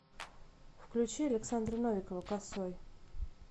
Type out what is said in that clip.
включи александра новикова косой